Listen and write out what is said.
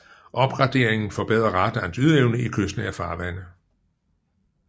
Opgraderingen forbedre radarens ydeevne i kystnære farvande